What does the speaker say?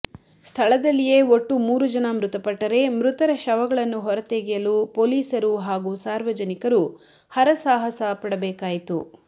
ಸ್ಥಳದಲ್ಲಿಯೇ ಒಟ್ಟು ಮೂರು ಜನ ಮೃತಪಟ್ಟರೆ ಮೃತರ ಶವಗಳನ್ನು ಹೊರತೆಗೆಯಲು ಪೋಲೀಸರು ಹಾಗೂ ಸಾರ್ವಜನಿಕರು ಹರಸಾಹಸ ಪಡಬೇಕಾಯಿತು